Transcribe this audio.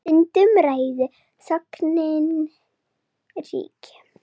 Stundum ræður þögnin ríkjum.